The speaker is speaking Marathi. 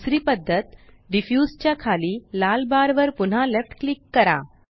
दुसरी पद्धत डिफ्यूज च्या खाली लाल बार वर पुन्हा लेफ्ट क्लिक करा